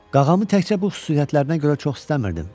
Qağamı təkcə bu xüsusiyyətlərinə görə çox istəmirdim.